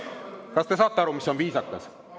Kas te saate aru, mis on viisakas?